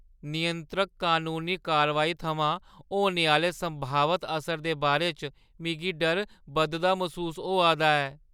नियंत्रक कनूनी कारवाई थमां होने आह्‌ले संभावत असर दे बारे च मिगी डर बधदा मसूस होआ दा ऐ।